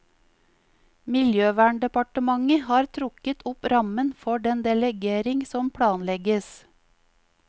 Miljøverndepartementet har trukket opp rammen for den delegering som planlegges.